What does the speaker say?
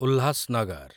Ulhasnagar